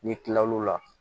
N'i kilal'o la